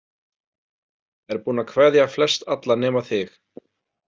Er búinn að kveðja flestalla nema þig.